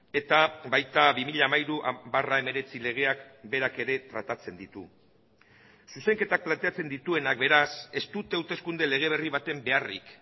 eta baita bi mila hamairu barra hemeretzi legeak berak ere tratatzen ditu zuzenketak planteatzen dituenak beraz ez dute hauteskunde lege berri baten beharrik